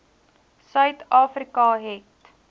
suid afrika het